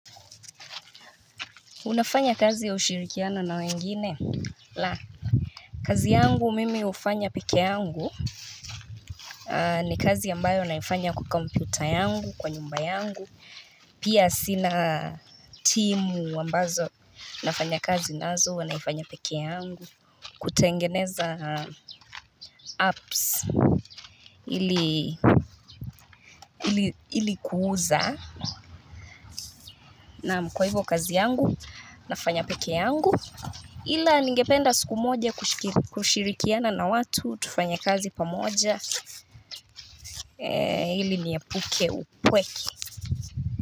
Unafanya kazi ya ushirikiano na wengine? La. Kazi yangu mimi ufanya peke yangu. Ni kazi ambayo naifanya kwa komputa yangu, kwa nyumba yangu. Pia sina timu ambazo nafanya kazi nazo, ua naifanya peke yangu. Kutengeneza apps ilikuuza. Naam kwa hivyo kazi yangu, nafanya peke yangu. Ila ningependa siku moja kushirikiana na watu tufanya kazi pamoja. Hili ni epuke upweke.